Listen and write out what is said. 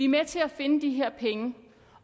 med til at finde de her penge